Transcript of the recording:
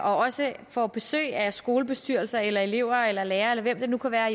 også får besøg af skolebestyrelser eller elever eller lærere eller hvem det nu kan være